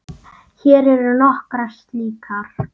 Hér eru nokkrar slíkar